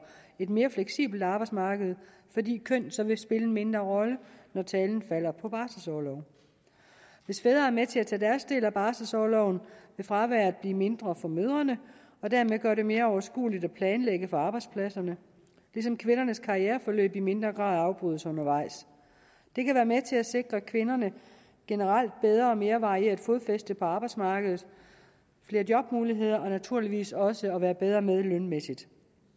et mere fleksibelt arbejdsmarked fordi køn så vil spille en mindre rolle når talen falder på barselsorlov hvis fædre er med til at tage deres del af barselsorloven vil fraværet blive mindre for mødrene og dermed gøre det mere overskueligt at planlægge for arbejdspladserne ligesom kvindernes karriereforløb i mindre grad afbrydes undervejs det kan være med til at sikre kvinderne et generelt bedre og mere varieret fodfæste på arbejdsmarkedet flere jobmuligheder og naturligvis også at være bedre med lønmæssigt